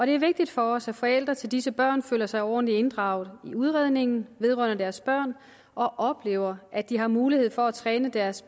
er vigtigt for os at forældre til disse børn føler sig ordentligt inddraget i udredningen vedrørende deres børn og oplever at de har mulighed for at træne deres